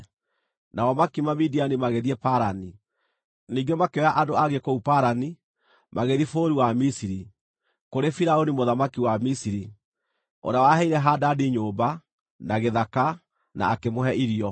Nao makiuma Midiani magĩthiĩ Parani. Ningĩ makĩoya andũ angĩ kũu Parani, magĩthiĩ bũrũri wa Misiri, kũrĩ Firaũni mũthamaki wa Misiri, ũrĩa waheire Hadadi nyũmba, na gĩthaka, na akĩmũhe irio.